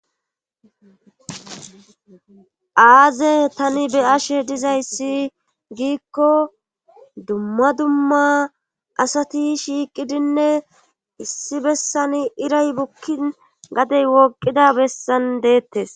Aaze tani be ashe dizayssi giikko dumma dumma asati shiiqidinne issi bessani iray bukkin gadey woqida bessan deettes.